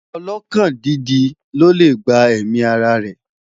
ọlọkàn dídì ló lẹ gbà èmi ará rè